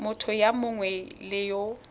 motho yo mongwe le yo